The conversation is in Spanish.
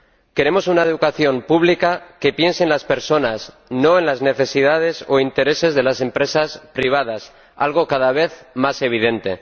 Queremos una educación pública que piense en las personas, no en las necesidades o intereses de las empresas privadas, algo cada vez más evidente